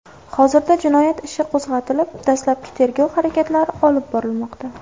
Hozirda jinoyat ishi qo‘zg‘atilib, dastlabki tergov harakatlari olib borilmoqda.